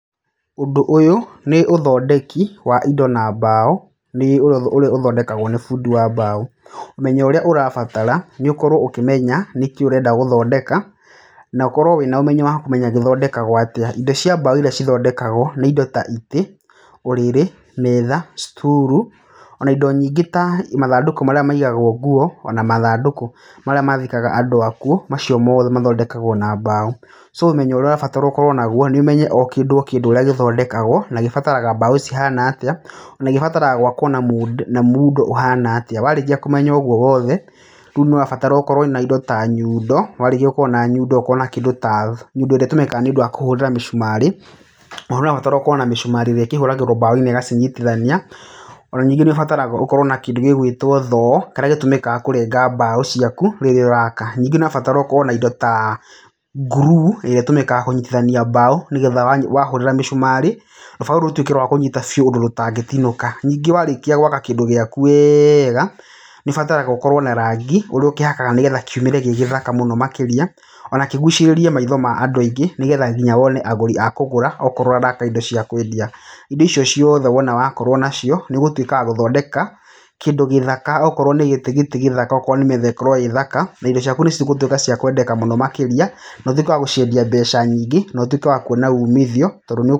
Ũndũ ũyũ nĩ ũthondeki wa indo na mbaũ nĩ ũrĩa ũthondekagwo nĩ bundi wa mbaũ, ũmenyo ũrĩa ũrabatara nĩ ũkorwo ũkĩmenya nĩkĩ ũrenda gũthondeka na ũkorwo wĩna ũmenyo wa kũmenya githondekagwo atĩa, indo cia mbaũ iria cithondekagwo nĩ indo ta itĩ, ũrĩrĩ, metha, sturu, ona indo nyingĩ ta mathandũkũ marĩa maigagwo nguo, ona mathandũkũ marĩa mathikaga andũ akuo, macio mothe mathondekagwo na mbaũ. So ũmenyo ũrĩa ũrabatara ũkorwo naguo nĩ ũmenye o kĩndũ o kĩndũ ũrĩa gĩthondekagwo, na gĩbataraga mbaũ cihana atĩa ona gĩbataraga gwakwo na muundo ũhana atĩa. Warĩkia kũmenya ũguo wothe, ríũ nĩ ũrabatara ũkorwo na indo ta nyundo, warĩkia gũkorwo na nyundo ũkorwo na kĩndũ ta nyundo ĩrĩa ĩtũmĩkaga nĩũndũ wa kũhũrĩra mĩcumarĩ, na nĩ ũrabatara gũkorwo na mĩcumarĩ ĩrĩa ĩkĩhũragĩrwo mbaũ-inĩ na ĩgacinyitithania, o na ningĩ nĩ ũbataraga ũkorwo na kĩndũ ta thoo, kĩrĩa gĩtũmĩkaga kũrenga mbaũ ciaku, rĩrĩa ũraka, ningĩ nĩ ũbataraga ũkorwo na indo ta nguruu ĩrĩa ĩtũmĩkaga kũnyitithania mbaũ nĩgetha wahũrĩra mĩcumarĩ, rũbaũ rũu rũtuĩke rwa kũnyita biũ ũndũ rũtangĩtinũka, ningĩ warĩkia gwaka kĩndũ gĩaku wega, nĩ ũbataraga ũkorwo na rangi, ũrĩa ũkĩhakaga nĩguo kiumĩre gĩ gĩthaka mũno makĩria, ona kĩgucĩrĩrie maitho ma andũ aingĩ, nĩgetha nginya wone agũri a kũgũra okorwo ũraka indo cĩa kwendia, indo icio ciothe wona wakorwo nacio, nĩ ũgũtuĩka wa gũthondeka kĩndũ gĩthaka, okorwo nĩ gĩtĩ gĩtĩ gĩthaka, okorwo nĩ metha ĩkorwo ĩ thaka na indo ciaku nĩ cigũtuĩka cia kwendeka mũno makĩria na ũtuĩke wa gũciendia mbeca nyingĩ na ũtuĩke wa kuona umithio.